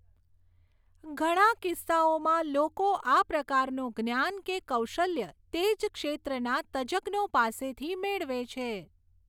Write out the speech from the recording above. ઘણા કિસ્સાઓમાં લોકો આ પ્રકારનું જ્ઞાન કે કૌશલ્ય તે જ ક્ષેત્રના તજજ્ઞો પાસેથી મેળવે છે.